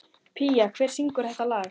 Pía, hver syngur þetta lag?